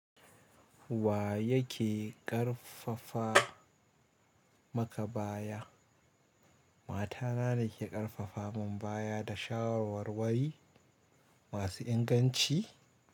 Wa yake ƙarfafa maka baya? Mata na ne ke ƙarfafa mun baya da shawarwarwari masu inganci.